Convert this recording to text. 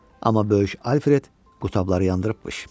Amma böyük Alfred qutabları yandırıbmış.